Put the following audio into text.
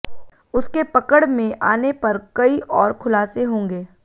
उसके पकड़ में आने पर कई और खुलासे होंगे